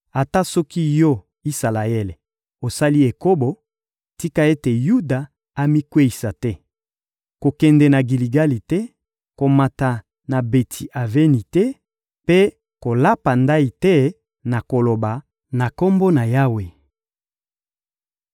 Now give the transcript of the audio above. Ata soki yo, Isalaele, osali ekobo, tika ete Yuda amikweyisa te! Kokende na Giligali te, komata na Beti-Aveni te mpe kolapa ndayi te na koloba: «Na Kombo na Yawe!»